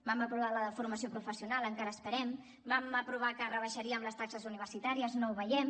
vam aprovar la de formació professional encara esperem vam aprovar que rebaixaríem les taxes universitàries no ho veiem